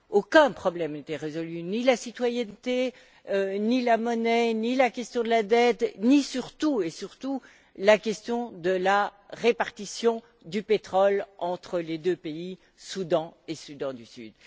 Aucun problème n'était résolu ni la citoyenneté, ni la monnaie, ni la question de la dette, ni, surtout, la question de la répartition du pétrole entre les deux pays, Soudan et Soudan du Sud.